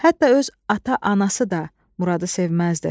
Hətta öz ata-anası da Muradı sevməzdi.